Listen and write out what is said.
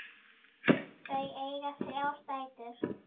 Þau eiga þrjár dætur.